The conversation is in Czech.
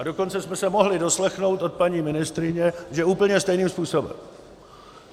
A dokonce jsme se mohli doslechnout od paní ministryně, že úplně stejným způsobem.